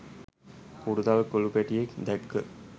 හුරතල් කොලු පැටියෙක් දැක්ක.